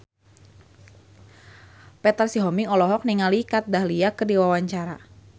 Petra Sihombing olohok ningali Kat Dahlia keur diwawancara